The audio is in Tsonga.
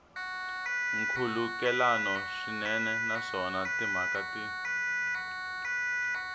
nkhulukelano swinene naswona timhaka ti